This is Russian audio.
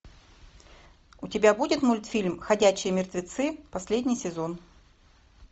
у тебя будет мультфильм ходячие мертвецы последний сезон